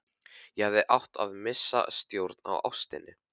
Ég hefði átt að missa sjónar á ástinni.